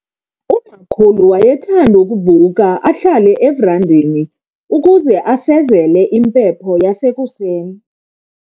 Umakhulu wayethanda ukuvuka ahlale everandeni ukuze asezele impepho yasekuseni.